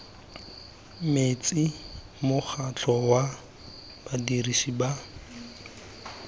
metsi mokgatlho wa badirisi ba